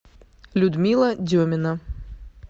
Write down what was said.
людмила демина